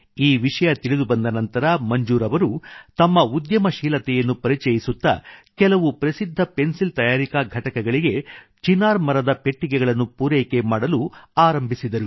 ಈ ವಿಷಯ ತಿಳಿದುಬಂದ ನಂತರ ಮಂಜೂರ್ ಅವರು ತಮ್ಮ ಉದ್ಯಮಶೀಲತೆಯನ್ನು ಪರಿಚಯಿಸುತ್ತಾ ಕೆಲವು ಪ್ರಸಿದ್ಧ ಪೆನ್ಸಿಲ್ ತಯಾರಿಕಾ ಘಟಕಗಳಿಗೆ ಚಿನಾರ್ ಮರದ ಪೆಟ್ಟಿಗೆಗಳನ್ನು ಪೂರೈಕೆ ಮಾಡಲು ಆರಂಭಿಸಿದರು